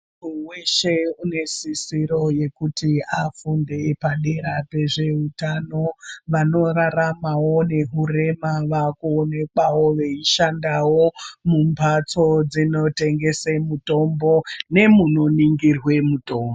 Muntu weshe une sisiro yekuti afunde padera pezveutano vanoraramawo nekurema vanoonekwawo vachishandawo mumhatso dzinotengeswa mitombo nemunoningirwa mitombo.